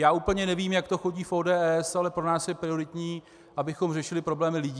Já úplně nevím, jak to chodí v ODS, ale pro nás je prioritní, abychom řešili problémy lidí.